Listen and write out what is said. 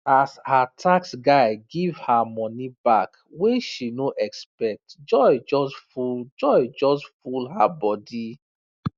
as her tax guy give her money back wey she no expect joy just full joy just full her body